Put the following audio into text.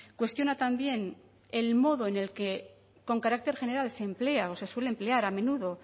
cuestiona también el modo con el que con carácter general se emplea o se suele emplear a menudo